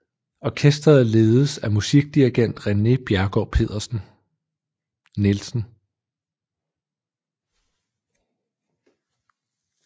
Orkestret ledes af musikdirigent René Bjerregaard Nielsen